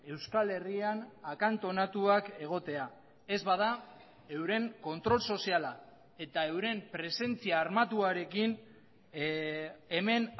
euskal herrian akantonatuak egotea ez bada euren kontrol soziala eta euren presentzia armatuarekin hemen